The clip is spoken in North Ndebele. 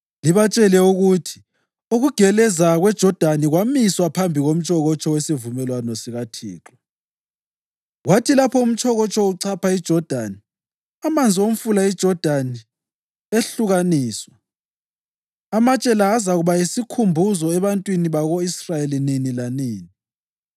Libatshele ukuthi ukugeleza kweJodani kwamiswa phambi komtshokotsho wesivumelwano sikaThixo. Kwathi lapho umtshokotsho uchapha iJodani, amanzi omfula uJodani ehlukaniswa. Amatshe la azakuba yisukhumbuzo ebantwini bako-Israyeli nini lanini.”